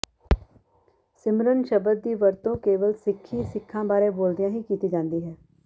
ਸਿਮਰਨ ਸ਼ਬਦ ਦੀ ਵਰਤੋਂ ਕੇਵਲ ਸਿੱਖੀ ਸਿੱਖਾਂ ਬਾਰੇ ਬੋਲਦਿਆਂ ਹੀ ਕੀਤੀ ਜਾਂਦੀ ਹੈ